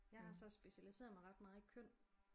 Jeg har så specialiseret mig ret meget i køn